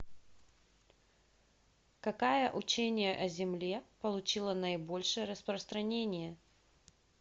какая учение о земле получило наибольшее распространение